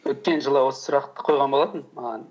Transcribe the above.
өткен жылы осы сұрақты қойған болатын маған